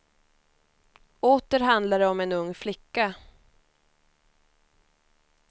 Åter handlar det om en ung flicka.